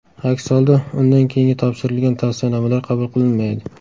Aks holda, undan keyin topshirilgan tavsiyanomalar qabul qilinmaydi.